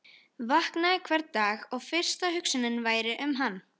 Vaknaði hvern dag og fyrsta hugsunin væri um hann.